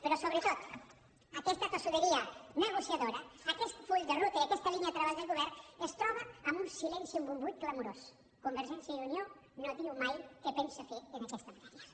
però sobretot aquesta tossuderia negociadora aquest full de ruta i aquesta línia de treball del govern es troba amb un silenci amb un buit clamorós convergència i unió no diu mai què pensa fer en aquesta matèria